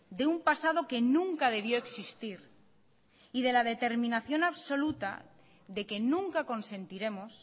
de un pasado que nunca debió existir y de la determinación absoluta de que nunca consentiremos